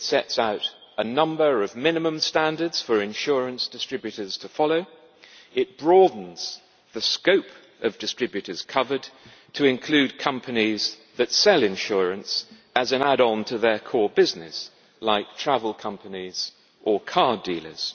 It sets out a number of minimum standards for insurance distributors to follow, and it broadens the scope of distributors covered, to include companies that sell insurance as an add on to their core business, like travel companies or car dealers.